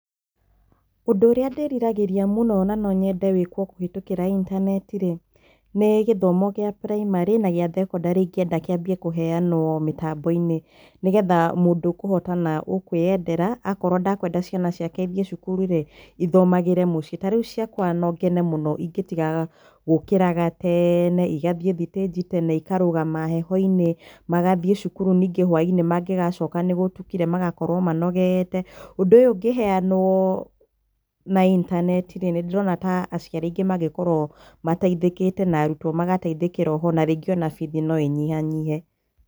Ũndũ ũrĩa ndĩriragĩria mũno na nonyende wĩkwo kũhetũkĩra itaneti-rĩ, nĩ gĩthomo gĩa primary na gĩa thekondarĩ ingĩenda kianjie kũheanwo mĩtambo-inĩ nĩgetha mũndũ ũkũhota na ũkwĩendera, akorwo ndekwenda ciana ciake ithiĩ cukuru-rĩ, ithomagĩre mũciĩ. Tarĩu ciakwa no ngene mũno ingĩtigaga gũkiraga teeene igathiĩ thitĩnji tene, ikarũgama heho-inĩ, magathiĩ cukuru ningĩ hwainĩ mangĩgacoka nĩgũtukire magakorwo manogete. Ũndũ ũyũ ũngĩheanwo na itaneti-rĩ, nĩndĩrona ta aciari aingĩ mangĩkorwo mateithĩkĩte na arutwo magateithĩkĩra oho, na rĩngĩ ona bithi no inyihanyihe.